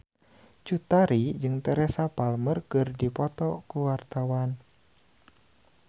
Cut Tari jeung Teresa Palmer keur dipoto ku wartawan